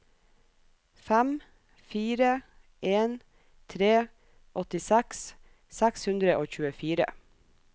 fem fire en tre åttiseks seks hundre og tjuefire